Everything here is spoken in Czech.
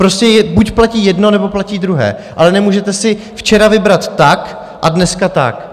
Prostě buď platí jedno, nebo platí druhé, ale nemůžete si včera vybrat tak a dneska tak.